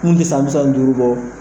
Kiri in ɛ san bisa ni duuru bɔ